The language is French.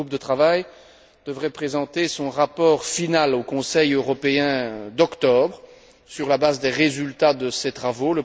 Le groupe de travail devrait présenter son rapport final au Conseil européen d'octobre sur la base des résultats de ses travaux.